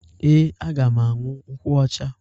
Ee, aga m aṅụ nkwụ ọcha.